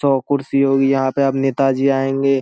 सौ कुर्सी होगी यहाँ पे अब नेता जी आयेगें |